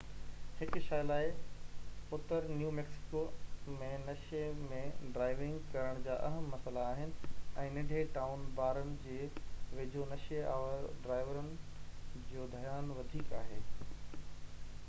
هڪ شيءَ لاءِ اتر نيو ميڪسيڪو ۾ نشي ۾ ڊرائيونگ ڪرڻ جا اهم مسئلا آهن ۽ ننڍي ٽائون بارن جي ويجهو نشي آور ڊرائيورن جو ڌيان وڌيڪ آهي